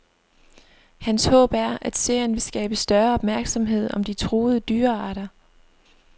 Hans håb er, at serien vil skabe større opmærksomhed om de truede dyrearter.